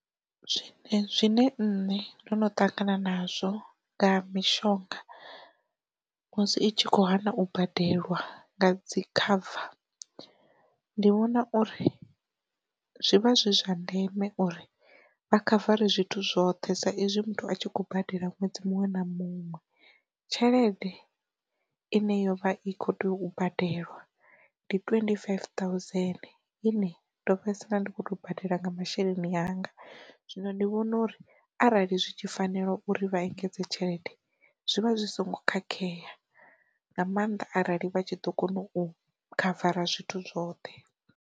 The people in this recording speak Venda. Zwine nṋe ndono ṱangana nazwo nga mishonga musi itshi kho hana u badela nga dzi cover ndi vhona uri, zwivha zwi zwa ndeme uri vha khavare zwithu zwoṱhe sa izwi muthu a tshi khou badela ṅwedzi muṅwe na muṅwe, tshelede ine yo vha i kho tea u badela ndi twenty five thousand ine ndo fhedzisela ndi kho to badela nga masheleni anga zwino ndi vhona uri arali zwi tshi fanela uri vha engedze tshelede zwivha zwi songo khakhea nga maanḓa arali vha tshi ḓo kona u khavara zwithu zwoṱhe.